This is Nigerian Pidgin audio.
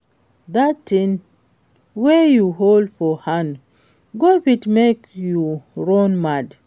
Dat thing wey you hold for hand go fit make you run mad